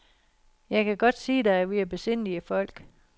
Jeg kan godt sige dig, at vi er besindige folk.